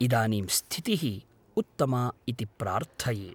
इदानीं स्थितिः उत्तमा इति प्रार्थये।